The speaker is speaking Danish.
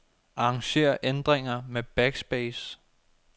Arranger ændringer med backspace.